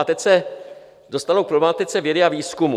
A teď se dostanu k problematice vědy a výzkumu.